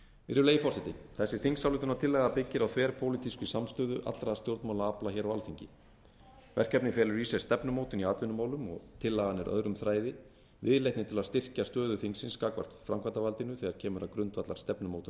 virðulegi forseti þessi þingsályktunartillaga byggir þverpólitískri samstöðu allra stjórnmálaafla hér á alþingi verkefnið felur í sér stefnumótun í atvinnumálum og tillagan er öðrum þræði viðleitni til að styrkja stöðu þingsins gagnvart framkvæmdarvaldinu þegar kemur að grundvallarstefnumótun málaflokka